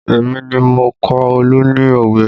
Èmi ni mo kọ́ Olu ní òwe